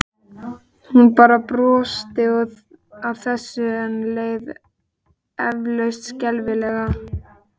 Hún bara brosti að þessu en leið eflaust skelfilega.